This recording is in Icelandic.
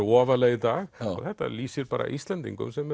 ofarlega í dag og þetta lýsir bara Íslendingum sem